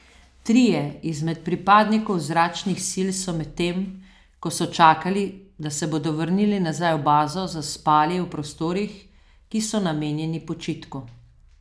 Trije izmed pripadnikov zračnih sil so medtem, ko so čakali, da se bodo vrnili nazaj v bazo, zaspali v prostorih, ki so namenjeni počitku.